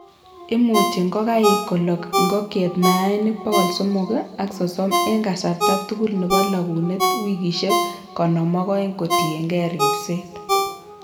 imuuchi ngokaik kolog ngokiet mayaik 330 en kasarta tugul nebo lagunet wikisiek 52 kotiengei ripset.